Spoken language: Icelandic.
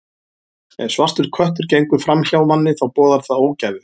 Ef svartur köttur gengur fram hjá manni, þá boðar það ógæfu.